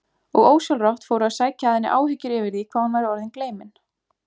Og ósjálfrátt fóru að sækja að henni áhyggjur yfir því hvað hún væri orðin gleymin.